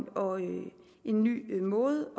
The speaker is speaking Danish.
og en en ny måde